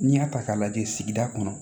N'i y'a ta k'a lajɛ sigida kɔnɔ